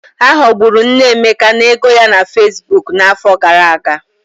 Ha ghọgburu nne Emeka n'ego ya na Fesbuk n'afọ gara aga.